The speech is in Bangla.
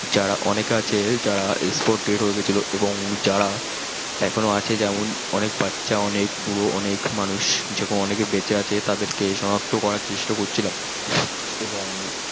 যারা অনেকে আছে যারা spot dead হয়ে গেছিলো এবং যারা এখনো আছে যেমন অনেক বাচ্চা অনেক বুড়ো অনেক মানুষ যেরকম অনেকে বেচে আছে তাদের সনাক্ত করার চেষ্টা করছিলাম